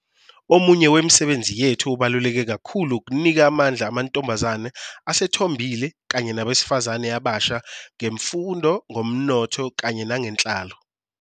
Omunye wemisebenzi yethu obaluleke kakhulu ukunika amandla amantombazane asethombile kanye nabesifazane abasha, ngemfundo, ngomnotho kanye nangenhlalo.